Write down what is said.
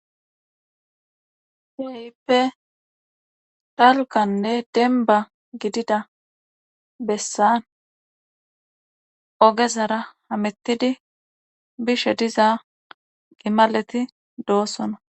Keehippe dalgaanne denba gidida bessan ogezara hamettidi bishe diza gimaleti doossona